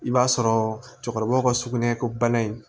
I b'a sɔrɔ cɛkɔrɔba ka sugunɛ ko bana in